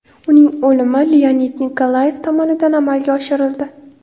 Uning o‘limi Leonid Nikolayev tomonidan amalga oshirildi.